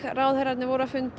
ráðherrarnir voru að fund